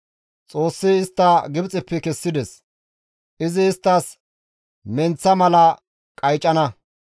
Xoossi istta Gibxeppe kessides; izi isttas menththa mala qaycana.